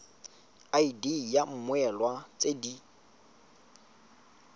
id ya mmoelwa tse di